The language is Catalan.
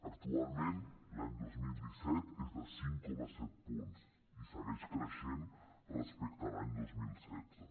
actualment l’any dos mil disset és de cinc coma set punts i segueix creixent respecte a l’any dos mil setze